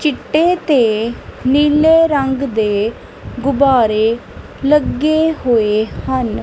ਚਿੱਟੇ ਤੇ ਨੀਲੇ ਰੰਗ ਦੇ ਗੁਬਾਰੇ ਲੱਗੇ ਹੋਏ ਹਨ।